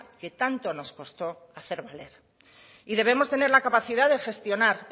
que tanto nos costó hacer valer y debemos tener la capacidad de gestionar